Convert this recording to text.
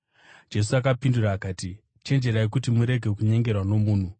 Jesu akapindura akati, “Chenjerai kuti murege kunyengerwa nomunhu.